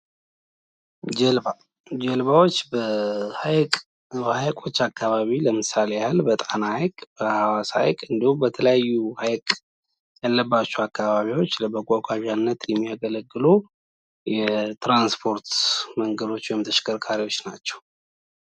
ጀልባ ጃልባዎች በሀይቆ አካባቢ ለምሳሌ በጣና ሀይቅ ፣ በሀዋሳ ሀይቅ እንዲሁም በተለያዩ ሀይቅ ያለባቸው አካባቢወች ለመጓጓዣነት የሚያገለግሉ የትራንስፖርት መንገዶች ወይም ተሽከርካሪወች ናቸው።